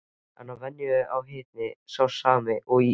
Að venju er hitinn sá sami og í ís